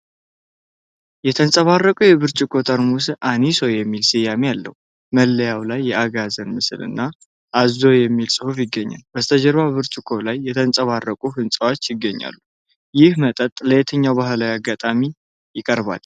የተንፀባረቀው የብርጭቆ ጠርሙስ አኒሶ የሚል ስያሜ አለው። መለያው ላይ የአጋዘን ምስል እና ኦዞ የሚል ጽሑፍ ይገኛል። በስተጀርባ በብርጭቆ ላይ የተንፀባረቁ ህንፃዎች ይገኛሉ። ይህ መጠጥ ለየትኛው ባህላዊ አጋጣሚ ይቀርባል?